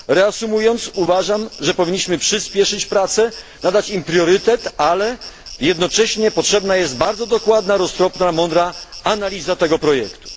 Reasumując, uważam, że powinniśmy przyśpieszyć prace, nadać im priorytet, ale jednocześnie potrzebna jest bardzo dokładna, roztropna, mądra analiza tego projektu.